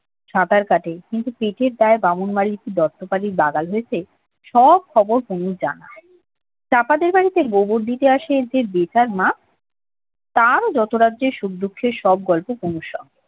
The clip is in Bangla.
সাঁতার কাটে কিন্তু পেটের দাই বামন বাড়ির কি দত্ত বাড়ির বাগাল হয়েছে সব খবর কুমুর জানা চাপাতের বাড়িতে গোবর দিতে আসে যে বেতার মা তারও যত রাজ্যের সুখ দুঃখের গল্প কুমুর সঙ্গে